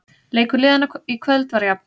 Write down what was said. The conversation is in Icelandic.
Leikur liðanna í kvöld var jafn